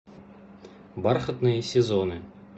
бархатные сезоны